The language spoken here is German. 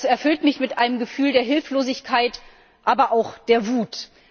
Das erfüllt mich mit einem Gefühl der Hilflosigkeit, aber auch der Wut.